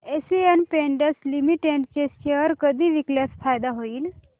Asian Paints limited चे share कधी विकल्यास फायदा होईल